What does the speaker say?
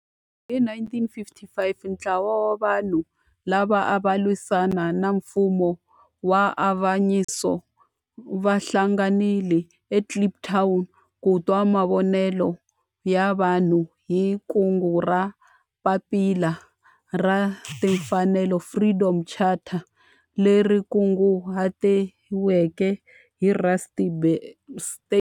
Hi 1955 ntlawa wa vanhu lava ava lwisana na nfumo wa avanyiso va hlanganile eKliptown ku twa mavonelo ya vanhu hi kungu ra Papila ra Timfanelo, Freedom Charter, leri kunguhatiweke hi Rusty Bernstein.